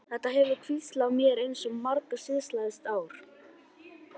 Þetta hefur hvílt á mér eins og mara síðastliðið ár.